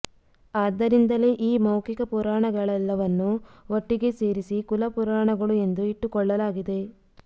ಆದ್ದರಿಂದಲೇ ಈ ಮೌಖಿಕ ಪುರಾಣಗಳೆಲ್ಲವನ್ನು ಒಟ್ಟಿಗೆ ಸೇರಿಸಿ ಕುಲ ಪುರಾಣಗಳು ಎಂದು ಇಟ್ಟುಕೊಳ್ಳಲಾಗಿದೆ